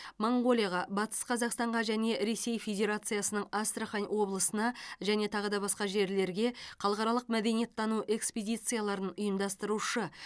моңғолияға батыс қазақстанға және ресей федерациясының астрахан облысына және тағы да басқа жерлерге халықаралық мәдениеттану экспедицияларын ұйымдастырушы